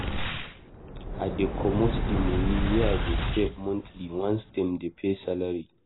I dey comot di moni wey I dey save monthly once dem pay salary.